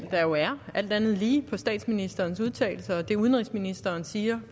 der jo er alt andet lige på statsministerens udtalelse og det udenrigsministeren siger